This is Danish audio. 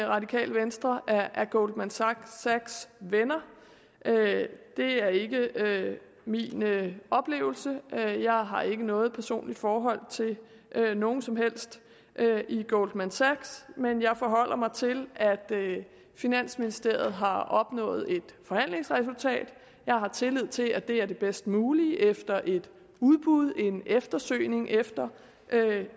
radikale venstre er goldman sachs venner det er ikke min oplevelse jeg har ikke noget personligt forhold til nogen som helst i goldman sachs men jeg forholder mig til at finansministeriet har opnået et forhandlingsresultat jeg har tillid til at det er det bedst mulige efter et udbud en eftersøgning efter